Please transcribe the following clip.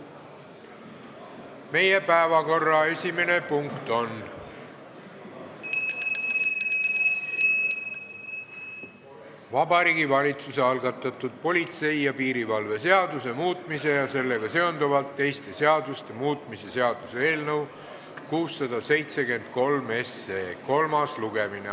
Meie päevakorra esimene punkt on Vabariigi Valitsuse algatatud politsei ja piirivalve seaduse muutmise ja sellega seonduvalt teiste seaduste muutmise seaduse eelnõu 673 kolmas lugemine.